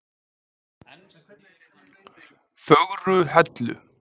Fögruhellu